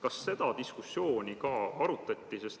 Kas seda teemat ka arutati?